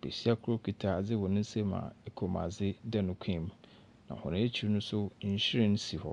Besia kor kita adze wɔ ne nsam a kommuadze da ne kɔn mu, na hɔn ekyir no nso nhwiren si hɔ.